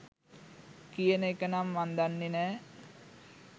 කියන එක නම් මං දන්නෙ නෑ.